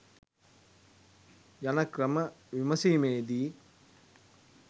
යන ක්‍රම විමසීමේදී